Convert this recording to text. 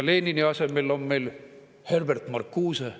Lenini asemel on meil Herbert Marcuse.